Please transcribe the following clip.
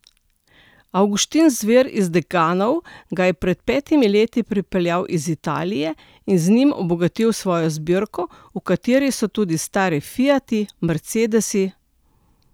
Avguštin Zver iz Dekanov ga je pred petimi leti pripeljal iz Italije in z njim obogatil svojo zbirko, v kateri so tudi stari fiati, mercedesi ...